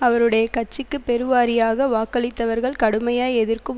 அவருடைய கட்சிக்கு பெருவாரியாக வாக்களித்தவர்கள் கடுமையாய் எதிர்க்கும்